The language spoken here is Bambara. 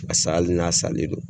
Paseke hali n'a salen don,